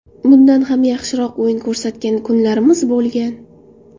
Bundan ham yaxshiroq o‘yin ko‘rsatgan kunlarimiz bo‘lgan.